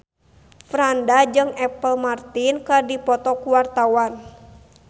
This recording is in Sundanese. Franda jeung Apple Martin keur dipoto ku wartawan